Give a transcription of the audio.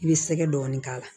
I bɛ sɛgɛ dɔɔnin k'a la